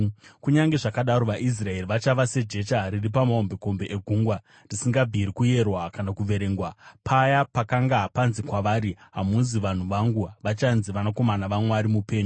“Kunyange zvakadaro vaIsraeri vachava sejecha riri pamahombekombe egungwa, risingabviri kuyerwa kana kuverengwa. Paya pakanga panzi kwavari, ‘Hamuzi vanhu vangu,’ vachanzi ‘vanakomana vaMwari mupenyu.’